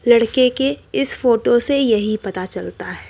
लड़के के इस फोटो से यही पता चलता है।